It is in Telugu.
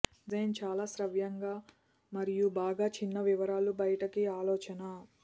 డిజైన్ చాలా శ్రావ్యంగా మరియు బాగా చిన్న వివరాలు బయటకు ఆలోచన